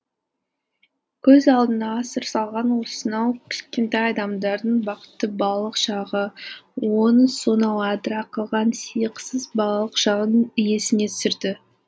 көз алдында асыр салған осынау кішкентай адамдардың бақытты балалық шағы оның сонау адыра қалған сиықсыз балалық шағын есіне түсірді